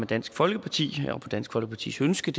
dansk folkeparti og på dansk folkepartis ønske